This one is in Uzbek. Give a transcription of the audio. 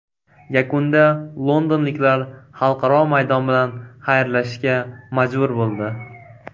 Yakunda londonliklar xalqaro maydon bilan xayrlashishga majbur bo‘ldi.